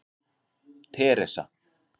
Teresa